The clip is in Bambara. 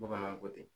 Bamananw ko ten